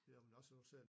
Jamen også nu ser jeg